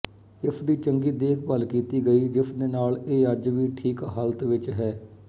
ਇਸ ਦੀ ਚੰਗੀ ਦੇਖਭਾਲ ਕੀਤੀ ਗਈ ਜਿਸਦੇ ਨਾਲ ਇਹ ਅੱਜ ਵੀ ਠੀਕ ਹਾਲਤ ਵਿੱਚ ਹੈ